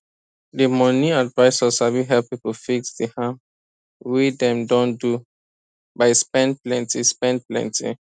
di money advisor sabi help people fix di harm wey dem don do by spend plenty spend plenty